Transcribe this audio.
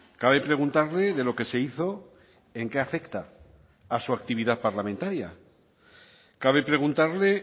cabe preguntarle de lo que se hizo en qué afecta a su actividad parlamentaria cabe preguntarle